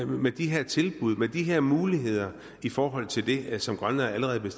med de her tilbud og med de her muligheder i forhold til det som grønland allerede er